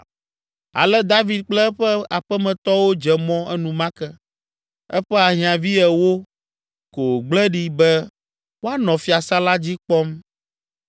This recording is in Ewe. Ale David kple eƒe aƒemetɔwo dze mɔ enumake; eƒe ahiãvi ewo ko wògble ɖi be woanɔ fiasã la dzi kpɔm.